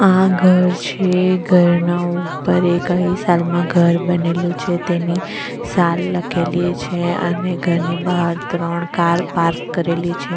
આ ઘર છે ઘરના ઉપર એ કઈ સાલમાં ઘર બનેલું છે તેની સાલ લખેલી છે અને ઘરની બહાર ત્રણ કાર પાર્ક કરેલી છે.